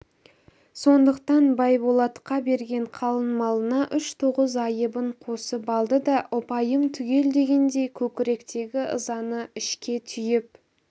сондықтан байболатқа берген қалың малына үш тоғыз айыбын қосып алды да ұпайым түгел дегендей көкіректегі ызаны ішке түйіп